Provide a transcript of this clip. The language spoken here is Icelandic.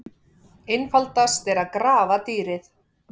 Einfaldast er að grafa dýrið.